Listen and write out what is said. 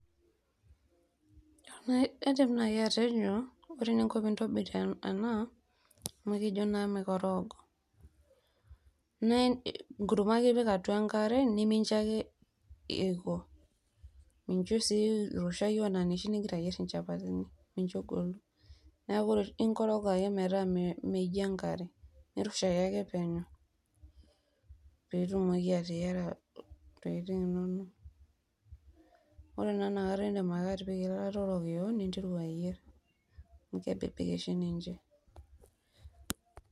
Kaidim nai atejo naa ore eninko tenintobir ena amu ekijo naa mikorogo naa enkurma ake ipik atua enkare nimincho ake eiko mincho sii irushwau anaa inoshi ningira ayier inychapatini micho egolu, niaku ikorog ake metaa minyjo enkare irushayie ake peno pitumoki atayiera ntokitin inonok ore ina kata indim ake atipika eilata orokiyo ninteru ayier amu kebebek oshi ninche.